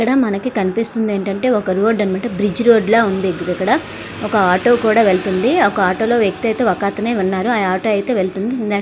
ఇక్కడ మనకి కనిపిస్తుంది ఏంటంటే ఒక రోడ్డు అన మాట బ్రిడ్జ్ రోడ్ లాగ ఉంది ఇక్కడ ఒక ఆటో కూడా వెళ్తుంది ఆ ఆటోలో వ్యక్తి అయితే ఒక అతనే వున్నాడు ఆ ఆటో ఐతే వెళ్తుంది --